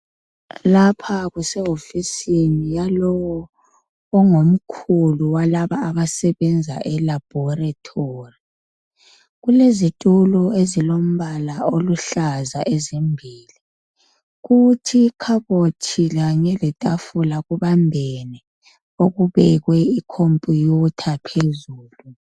Lapha kusehofisini yalowo ongumkhulu walaba abasebenza elaboratory. Kulezitulo ezilombala oluhlaza ezimbili. Kuthi ikhabothi kanye letafula kubambene okubekwe icomputer phezulu.